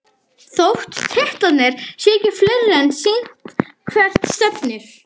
Þótt titlarnir séu ekki fleiri er sýnt hvert stefnir.